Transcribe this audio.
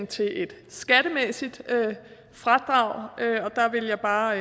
til et skattemæssigt fradrag der vil jeg bare